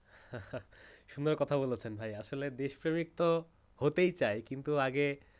হা হা সুন্দর কথা বলেছেন ভাই আসলে দেশপ্রেমিক তো হতেই চাই কিন্তু আগে